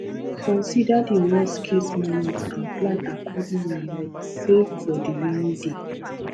consider di worstcase moment and plan accordingly like save for di rainy day